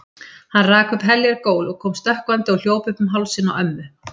Hann rak upp heljar gól og kom stökkvandi og hljóp upp um hálsinn á ömmu.